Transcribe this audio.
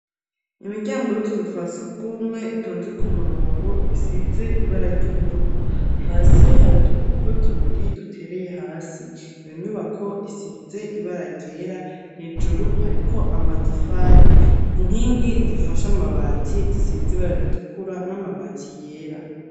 Imiryango y'utuzu twasugumwe itonze ku murongo ,isize ibara ry'ubururu ,hasi hari udupapuro tubiri dutereye hasi ,iyo nyubako isize ibara ryera hejuru hariko amatafari inkingi zifasha amabati gisize ibara ritukura n'amabati yera.